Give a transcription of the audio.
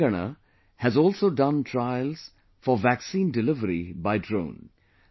Telangana has also done trials for vaccine delivery by drone